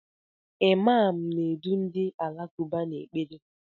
Imaam na-edu ndị Alakụba n'ekpere.